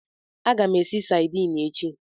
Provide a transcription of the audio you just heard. Aga m esi sadini echi.